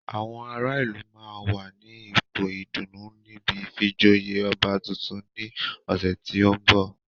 Àwọn ará ìlú máa wà ní ipò ìdùnnú níbi ìfijoyè ọba tuntun ní ọ̀sẹ̀ tí ó ń bọ̀